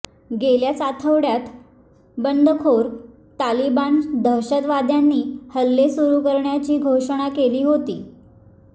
गेल्याच आठवड्यात बंडखोर तालिबानी दहशतवाद्यांनी हल्ले सुरू करण्याची घोषणा केली होती